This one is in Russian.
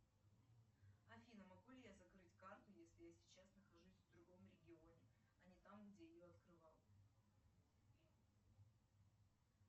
афина могу ли я закрыть карту если я сейчас нахожусь в другом регионе а не там где ее открывал